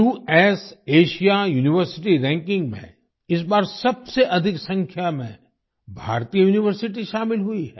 QS A S I A university ranking में इस बार सबसे अधिक संख्या में भारतीय यूनिवर्सिटी शामिल हुई है